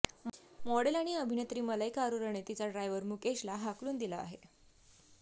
model आणि अभिनेत्री मलाईका अरोराने तिचा ड्रायव्हर मुकेशला हाकलून दिला आहे